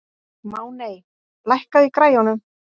Máney, lækkaðu í græjunum.